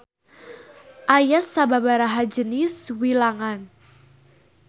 Aya sababaraha jenis wilangan.